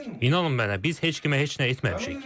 İnanın mənə, biz heç kimə heç nə etməmişik.